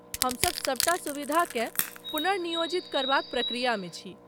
हमसभ सभटा सुविधाकेँ पुनर्नियोजित करबाक प्रक्रियामे छी।